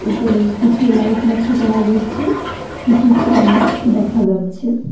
ওপরে কিছু লাইট লক্ষ করা যাচ্ছে কিছু ফ্যান দেখা যাচ্ছে।